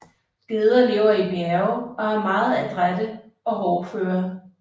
Geder lever i bjerge og er meget adrætte og hårdføre